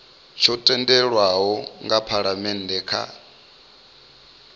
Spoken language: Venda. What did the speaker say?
tsho tendelwaho nga phalamennde kha